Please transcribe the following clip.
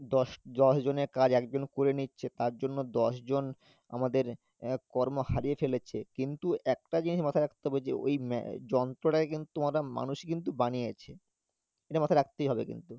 দশ দশ জনের কাজ একজন করে নিচ্ছে তারজন্য দশজন আমাদের আহ কর্ম হারিয়ে ফেলেছে, কিন্তু একটা জিনিস মাথায় রাখতে হবে ওই ম্যা~ যন্ত্রটাকে কিন্তু মানুষই কিন্তু বানিয়েছে এটা মাথায় রাখতেই হবে কিন্তু